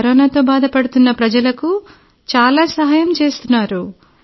కరోనాతో బాధపడుతున్న ప్రజలకు చాలా సహాయం చేస్తున్నారు